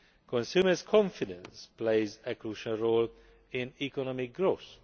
Consumer confidence plays a crucial role in economic growth.